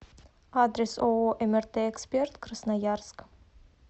адрес ооо мрт эксперт красноярск